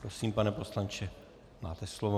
Prosím, pane poslanče, máte slovo.